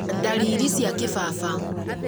ndariri cia kĩbaba